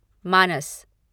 मानस